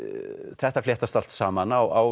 þetta fléttast allt saman á